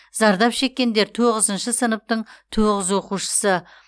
зардап шеккендер тоғызыншы сыныптың тоғыз оқушысы